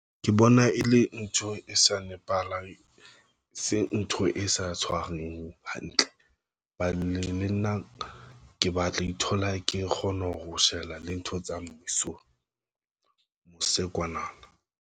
Ke bona e le ntho e sa nepahalang, e se ntho e sa tshwareng hantle. Balemi le nna ke batla ithola ke kgona ho shebela le ntho tsa mmuso mose kwana.